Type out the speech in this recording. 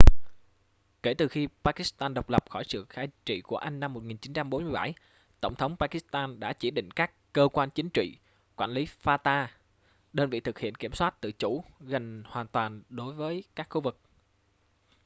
kể từ khi pakistan độc lập khỏi sự cai trị của anh năm 1947 tổng tống pakistan đã chỉ định các cơ quan chính trị quản lý fata đơn vị thực hiện kiểm soát tự chủ gần hoàn toàn đối với các khu vực